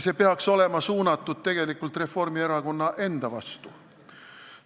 See peaks olema suunatud Reformierakonna enda vastu.